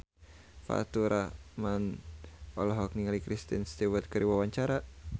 Faturrahman olohok ningali Kristen Stewart keur diwawancara